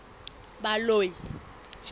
baloi